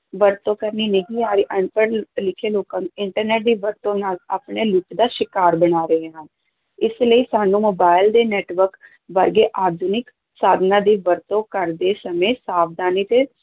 ਵਰਤੋਂ ਕਰਨੀ ਨਹੀਂ ਆ ਰਹੀ, ਅਨਪੜ੍ਹ ਲਿਖੇ ਲੋਕਾਂ ਨੂੰ internet ਦੀ ਵਰਤੋਂ ਨਾਲ ਆਪਣੇ ਲੁੱਟ ਦਾ ਸ਼ਿਕਾਰ ਬਣਾ ਰਹੇ ਹਨ, ਇਸ ਲਈ ਸਾਨੂੰ ਮੋਬਾਇਲ ਦੇ network ਵਰਗੇ ਆਧੁਨਿਕ ਸਾਧਨਾਂ ਦੀ ਵਰਤੋਂ ਕਰਦੇ ਸਮੇਂ ਸਾਵਧਾਨੀ ਤੇ